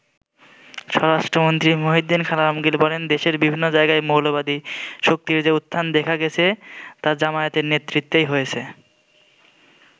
স্বরাষ্ট্রমন্ত্রী মহিউদ্দীন খান আলমগির বলেন দেশের বিভিন্ন জায়গায় 'মৌলবাদী শক্তির' যে উত্থান দেখা গেছে তা জামায়াতের নেতৃত্বেই হয়েছে।